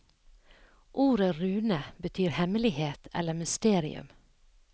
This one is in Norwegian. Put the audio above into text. Ordet rune betyr hemmelighet eller mysterium.